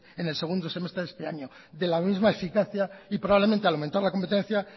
en el segundo semestre de este año de la misma eficacia y probablemente al aumentar la competencia